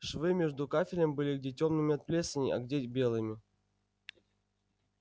швы между кафелем были где тёмными от плесени а где белыми